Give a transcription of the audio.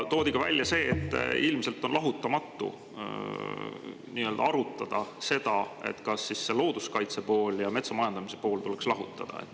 Toodi välja ka see, et ilmselt arutada, kas looduskaitse pool ja metsa majandamise pool tuleks lahutada.